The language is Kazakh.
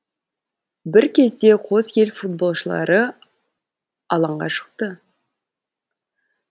бір кезде қос ел футболшылары алаңға шықты